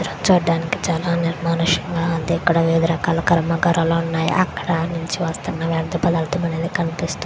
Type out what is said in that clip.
చిత్రం చూడడానికి చానా నిర్మానుషంగా ఇక్కడ రకాల కర్మ కారాలు ఉన్నాయి అక్కడ చిత్రం చూడడానికి చానా నిర్మానుషంగా ఇక్కడ రకాల కర్మ కారాలు ఉన్నాయి అక్కడ వర్ధ పధధము కనిపిస్తోంద్--